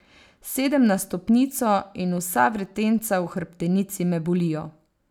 Sedem na stopnico in vsa vretenca v hrbtenici me bolijo.